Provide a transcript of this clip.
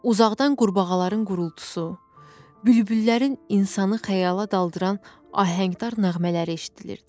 Uzaqdan qurbağaların qırıltısı, bülbüllərin insanı xəyala daldıran ahəngdar nəğmələri eşidilirdi.